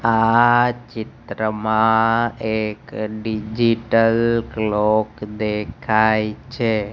આ ચિત્રમાં એક ડિજિટલ ક્લૉક દેખાય છે.